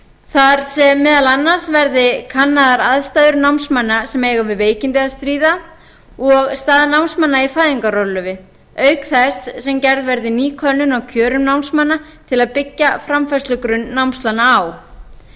þar sem meðal annars verði kannaðar aðstæður námsmanna sem eiga við veikindi að stríða og staða námsmanna í fæðingarorlofi auk þess sem gerð verði ný könnun á kjörum námsmanna til að byggja framfærslugrunn námslána á